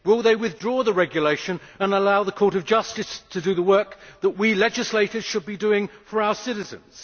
Will they withdraw the regulation and allow the Court of Justice to do the work that we legislators should be doing for our citizens?